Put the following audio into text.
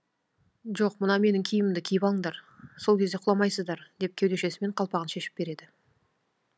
жоқ мына менің киімімді киіп алыңдар сол кезде құламайсыздар деп кеудешесімен қалпағын шешіп береді